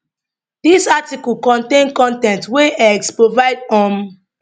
dis article contain con ten t wey x provide um